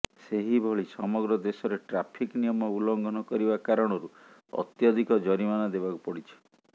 ସେହିଭଳି ସମଗ୍ର ଦେଶରେ ଟ୍ରାଫିକ ନିୟମ ଉଲ୍ଲଙ୍ଘନ କରିବା କାରଣରୁ ଅତ୍ୟଧିକ ଜରିମାନା ଦେବାକୁ ପଡିଛି